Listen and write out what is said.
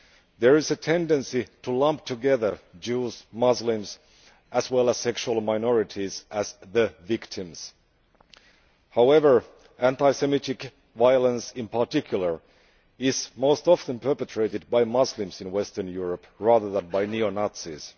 There is a tendency to lump together Jews and Muslims, as well as sexual minorities, as the victims. However, anti Semitic violence, in particular, is most often perpetrated by Muslims in Western Europe, rather than by neo Nazis.